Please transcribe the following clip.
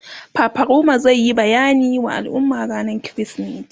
fafaroma zai Yi bayani wa al'umma rannan krismeti